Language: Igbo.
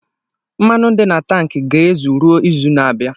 Mmanụ di na tanki ga-ezu ruo izu na-abịa.